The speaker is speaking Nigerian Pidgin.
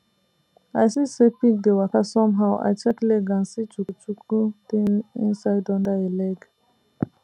i see say pig dey waka somehow i check leg and see chukuchuku thing inside under e leg